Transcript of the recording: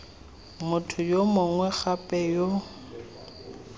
motho yo mongwe gape yo